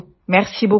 thank you very much